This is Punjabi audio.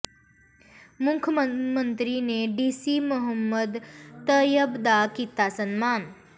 ਮੁੱਖ ਮੰਤਰੀ ਨੇ ਡੀਸੀ ਮੁਹੰਮਦ ਤਇਅਬ ਦਾ ਕੀਤਾ ਸਨਮਾਨ